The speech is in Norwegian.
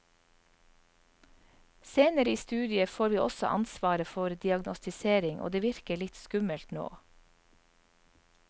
Senere i studiet får vi også ansvaret for diagnostisering, og det virker litt skummelt nå.